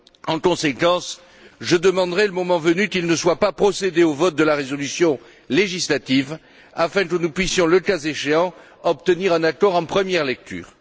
En conséquence, je demanderai, le moment venu, qu'il ne soit pas procédé au vote de la résolution législative afin que nous puissions, le cas échéant, obtenir un accord en première lecture.